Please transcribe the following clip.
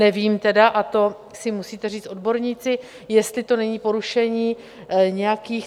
Nevím tedy, a to si musíte říct odborníci, jestli to není porušení nějakých...